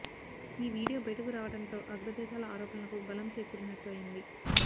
ఈ వీడియో బయటకు రావడంతో అగ్ర దేశాల ఆరోపణలకు బలం చేకూరినట్టు అయింది